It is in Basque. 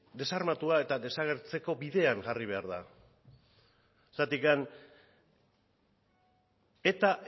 desarmatua eta desagertzeko bidean jarri behar da zergatik eta